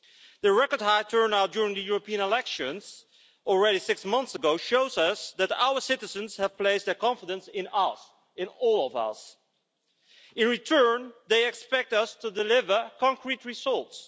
The record high turnout during the European elections, already six months ago, shows us that our citizens have placed their confidence in us in all of us. In return, they expect us to deliver concrete results.